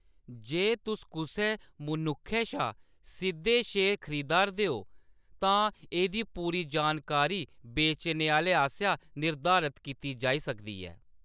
जे तुस कुसै मनुक्खै शा सिद्‌धे शेयर खरीदा'रदे ओ , तां एह्‌‌दी पूरी जानकारी बेचने आह्‌‌ले आसेआ निर्धारत कीती जाई सकदी ऐ।